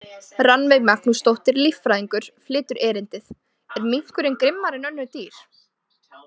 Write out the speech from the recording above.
Rannveig Magnúsdóttir, líffræðingur, flytur erindið: Er minkurinn grimmari en önnur dýr?